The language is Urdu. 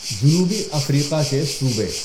جنوبی افریقہ کے صوبے